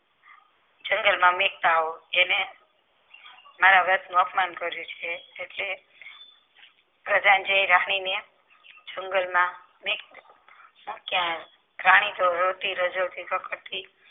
જંગલમાં મૂકતા આવો એને મારા અપમાન કર્યું છે એટલે પ્રજાઞ્જે રાની ને જંગલ માં મીકતા મૂકી આયો રાણી તો રોતી રાજવતી